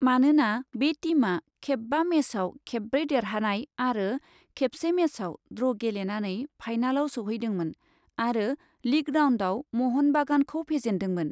मानोना बे टीमआ खेबबा मेचआव खेबब्रै देरहानाय आरो खेबसे मेचआव ड्र' गेलेनानै फाइनालाव सौहैदोंमोन आरो लीग राउन्डआव म'हन बागानखौ फेजेन्दोंमोन।